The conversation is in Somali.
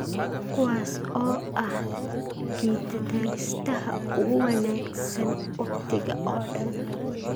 kuwaas oo ah gitataristaha ugu wanagsan wakhtiga oo dhan